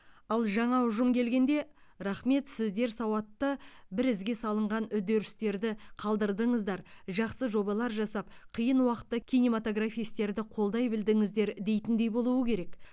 ал жаңа ұжым келгенде рақмет сіздер сауатты бір ізге салынған үдерістерді қалдырдыңыздар жақсы жобалар жасап қиын уақытта кинематографистерді қолдай білдіңіздер дейтіндей болуы керек